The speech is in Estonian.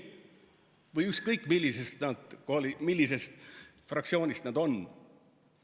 Või ükskõik, millisest fraktsioonist nad on.